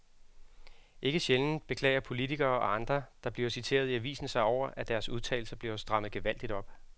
Ikke sjældent beklager politikere og andre, der bliver citeret i aviserne sig over, at deres udtalelser bliver strammet gevaldigt op.